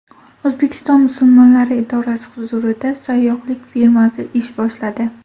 O‘zbekiston musulmonlari idorasi huzurida sayyohlik firmasi ish boshladi.